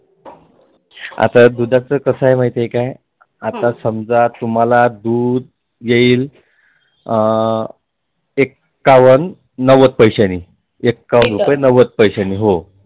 आता दुधाच कसं आहे माहीत आहे का आता तुम्हाला दुध येईल एक्कावन नव्वद पैशानी हो एक्कावन रुपए नव्वद पैशानी हो